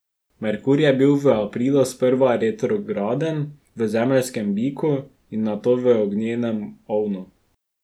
Merkur je bil v aprilu sprva retrograden v zemeljskemu biku in nato v ognjenem ovnu.